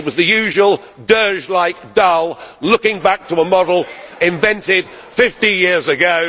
today. It was the usual dirge like, dull looking back to a model invented 50 years